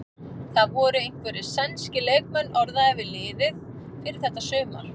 Það voru einhverjir sænskir leikmenn orðaðir við liðið fyrir þetta sumar?